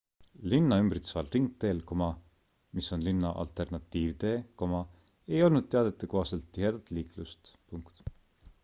linna ümbritseval ringteel mis on linna alternatiivtee ei olnud teadete kohaselt tihedat liiklust